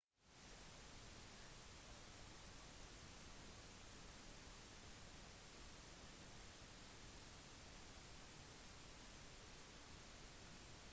opprinnelig gav han alfabetet hangeul navnet hunmin jeongeum som betyr «de riktige lydene for instruksen til folket»